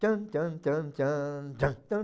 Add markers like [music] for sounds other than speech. Tan tan tan tan [unintelligible] tan